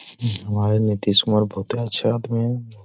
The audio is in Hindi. हमारे नितीश कुमार बोहते अच्छे आदमी हैं।